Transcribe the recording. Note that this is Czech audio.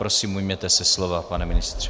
Prosím, ujměte se slova, pane ministře.